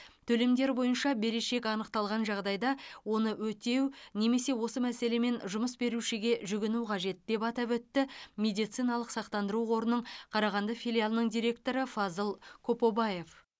төлемдер бойынша берешек анықталған жағдайда оны өтеу немесе осы мәселемен жұмыс берушіге жүгіну қажет деп атап өтті медициналық сақтандыру қорының қарағанды филиалының директоры фазыл копобаев